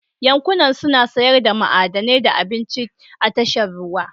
Yankunan suna sayar da ma'adanai da abinci a tashar ruwa